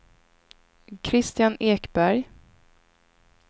Kristian Ekberg